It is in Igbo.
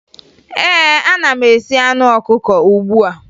Ee, ana m esi anụ ọkụkọ ugbu a